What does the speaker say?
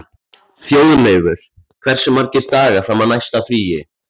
Þjóðleifur, hversu margir dagar fram að næsta fríi?